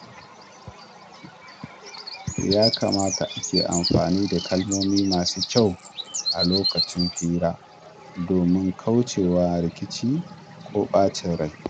Ya kamata a ke amfani da kalmomi masu kyau a lokacin hira, domin kaucewa rikici ko ɓacin rai.